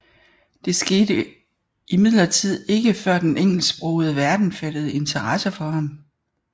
Det skete imidlertid ikke før den engelsksprogede verden fattede interesse for ham